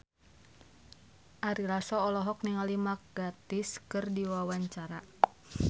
Ari Lasso olohok ningali Mark Gatiss keur diwawancara